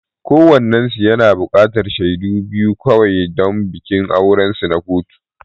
Kowannensu yana buƙatar shaidu biyu kawai don bikin aurensu na kotu.